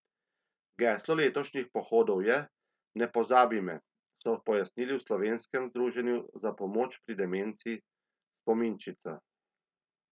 Geslo letošnjih pohodov je Ne pozabi me, so pojasnili v Slovenskem združenju za pomoč pri demenci Spominčica.